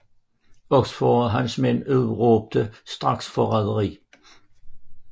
Oxford og hans mænd udråbte straks forræderi